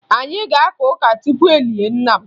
Anyị ga-aka ụka tupu e lie nna m